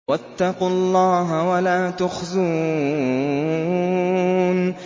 وَاتَّقُوا اللَّهَ وَلَا تُخْزُونِ